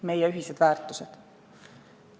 Meie ühised väärtused.